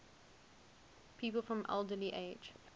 people from alderley edge